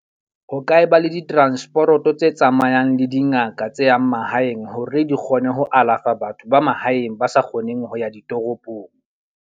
Ho ka ba le ditransporoto tse tsamayang le dingaka tse yang mahaeng. Hore di kgone ho alafa batho ba mahaeng ba sa kgoneng ho ya ditoropong.